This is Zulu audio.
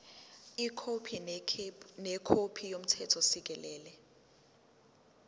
ikhophi nekhophi yomthethosisekelo